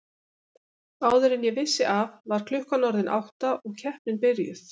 Áður en ég vissi af var klukkan orðin átta og keppnin byrjuð.